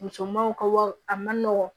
Musomanw ka wari a man nɔgɔn